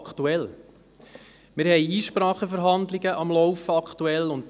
Aktuell sind Verhandlungen aufgrund von Einsprachen am Laufen.